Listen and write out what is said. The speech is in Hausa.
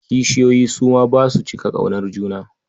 Kishiyoyi su ma ba su cika ƙaunar juna.